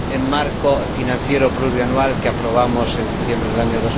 marco financiero plurianual que aprobamos en diciembre del año